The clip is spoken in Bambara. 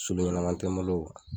Soden ɲɛnama tɛ n bolo